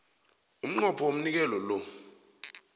umnqopho womnikelo lo